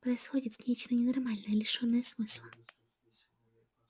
происходит нечто ненормальное лишённое смысла